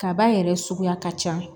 Kaba yɛrɛ suguya ka ca